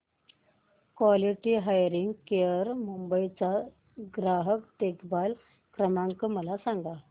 quality hearing care Mumbai चा ग्राहक देखभाल क्रमांक मला सांगा